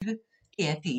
DR P1